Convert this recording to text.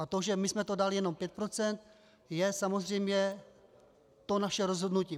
A to, že my jsme to dali jenom pět procent, je samozřejmě to naše rozhodnutí.